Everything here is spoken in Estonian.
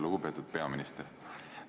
Lugupeetud peaminister!